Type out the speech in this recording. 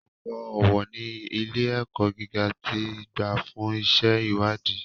Ọ̀̀pọ̀ owó ní ilé-ẹ̀kọ́ gíga ti gbà fún iṣẹ́-ìwádìí.